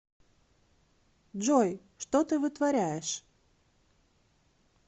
джой что ты вытворяешь